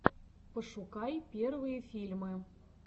пошукай первые фильмы